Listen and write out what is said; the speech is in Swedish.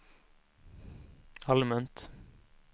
allmänt